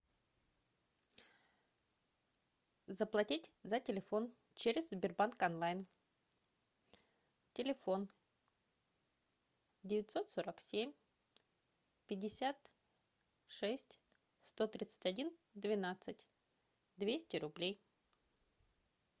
заплатить за телефон через сбербанк онлайн телефон девятьсот сорок семь пятьдесят шесть сто тридцать один двенадцать двести рублей